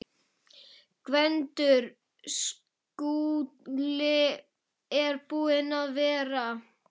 GVENDUR: Skúli er búinn að vera.